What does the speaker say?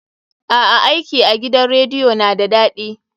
A'a, aiki a gidan rediyo na da daɗi.